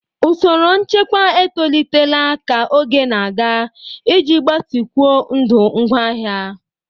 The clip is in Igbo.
Usoro nchekwa etolitela ka oge na-aga iji gbatịkwuo ndụ ngwaahịa.